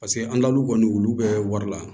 Paseke an dal'u kɔni olu bɛ wari la